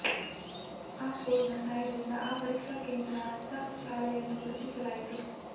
ಆ ಕೋಡ್ನ ಸಹಾಯದಿಂದ ಆ ಪರೀಕ್ಷಾ ಕೇಂದ್ರ ಅರ್ಥಾತ್ ಶಾಲೆಯನ್ನು ಗುರುತಿಸಲಾಯಿತು